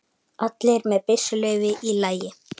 Allir með byssuleyfi í lagi